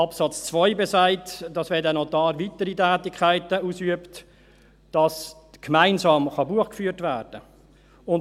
Absatz 2 besagt, dass, wenn dieser Notar weitere Tätigkeiten ausübt, gemeinsam Buch geführt werden kann.